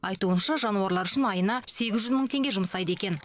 айтуынша жануарлар үшін айына сегіз жүз мың теңге жұмсайды екен